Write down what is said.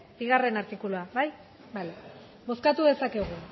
bigarren artikulua bale bozkatu dezakegu